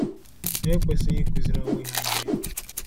Ha ekwesịghị ịkụziri onwe ha ihe efu.